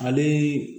Ale